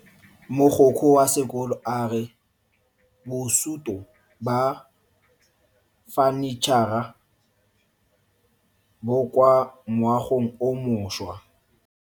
Mogokgo wa sekolo a re bosuto ba fanitšhara bo kwa moagong o mošwa.